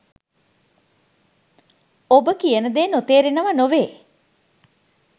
ඔබ කියන දේ නොතේරෙනවා නොවේ